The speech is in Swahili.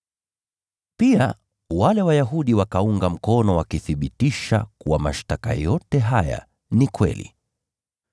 Pia wale Wayahudi wakaunga mkono wakithibitisha kuwa mashtaka yote haya ni kweli.